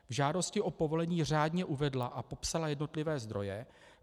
V žádosti o povolení řádně uvedla a popsala jednotlivé zdroje.